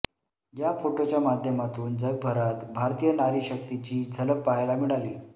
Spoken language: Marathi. या फोटोच्या माध्यमादून जगभरात भारतीय नारीशक्तीची झलक पाहायला मिळाली